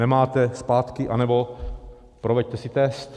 Nemáte, zpátky, anebo proveďte si test.